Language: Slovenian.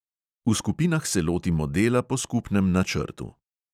V skupinah se lotimo dela po skupnem načrtu.